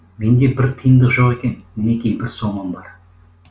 менде бір тиындық жоқ екен мінеки бір сомым бар